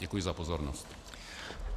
Děkuji za pozornost.